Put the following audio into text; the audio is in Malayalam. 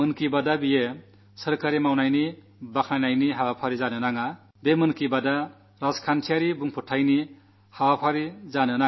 മൻ കീ ബാത് സർക്കാർ ചെയ്ത കാര്യങ്ങൾ കൊട്ടിഘോഷിക്കുന്ന പരിപാടി ആകരുതെന്ന് ഞാൻ ആത്മാർഥമായി ശ്രമിച്ചിട്ടുണ്ട്